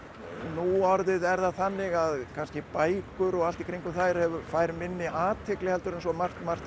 núorðið er það þannig að kannski bækur og allt í kringum þær fær minni athygli heldur en svo margt margt